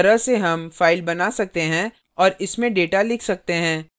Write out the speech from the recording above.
इस तरह से हम file बना सकते हैं और इसमे data लिख सकते हैं